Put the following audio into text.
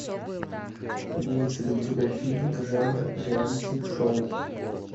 имеется ли у тебя фильмик жанра реалити шоу